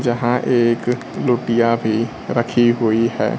जहां एक लोटीया भी रखी हुई है।